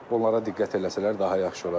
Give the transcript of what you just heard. Onlara diqqət eləsələr daha yaxşı olar.